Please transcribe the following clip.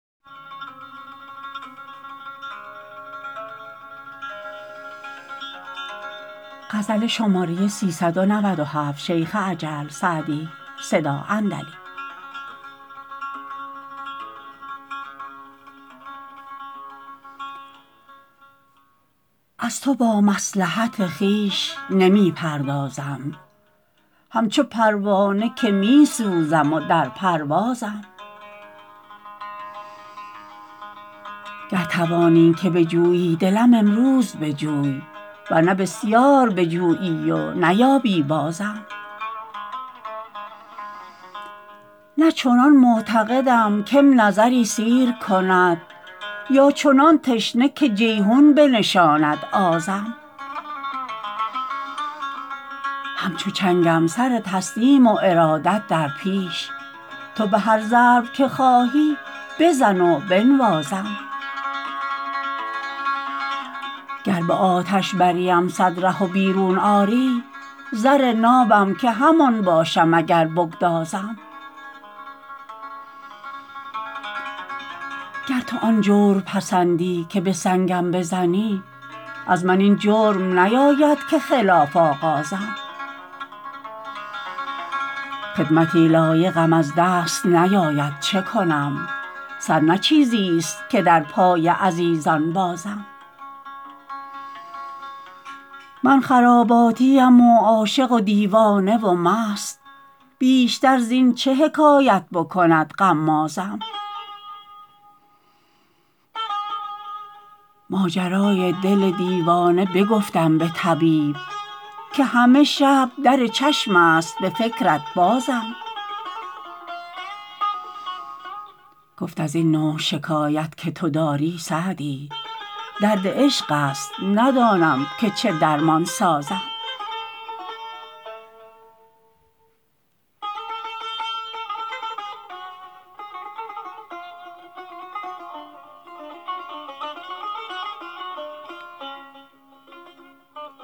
از تو با مصلحت خویش نمی پردازم همچو پروانه که می سوزم و در پروازم گر توانی که بجویی دلم امروز بجوی ور نه بسیار بجویی و نیابی بازم نه چنان معتقدم که م نظری سیر کند یا چنان تشنه که جیحون بنشاند آزم همچو چنگم سر تسلیم و ارادت در پیش تو به هر ضرب که خواهی بزن و بنوازم گر به آتش بریم صد ره و بیرون آری زر نابم که همان باشم اگر بگدازم گر تو آن جور پسندی که به سنگم بزنی از من این جرم نیاید که خلاف آغازم خدمتی لایقم از دست نیاید چه کنم سر نه چیزیست که در پای عزیزان بازم من خراباتیم و عاشق و دیوانه و مست بیشتر زین چه حکایت بکند غمازم ماجرای دل دیوانه بگفتم به طبیب که همه شب در چشم است به فکرت بازم گفت از این نوع شکایت که تو داری سعدی درد عشق است ندانم که چه درمان سازم